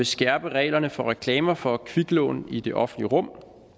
skærpe reglerne for reklamer for kviklån i det offentlige rum